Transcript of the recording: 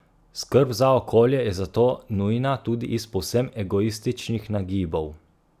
Skrb za okolje je zato nujna tudi iz povsem egoističnih nagibov.